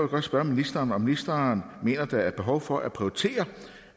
godt spørge ministeren om ministeren mener der er behov for at prioritere